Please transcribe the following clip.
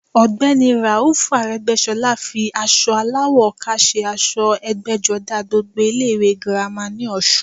Ọ̀gbẹ́ni i Ràúfù Arẹ́gbẹ́sọlá fi aṣọ aláwọ̀ ọkà se aṣọ ẹgbẹ́jọdá gbogbo ilé ìwé girama ní ọ̀sun